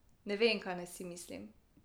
Ne vem, kaj si naj mislim.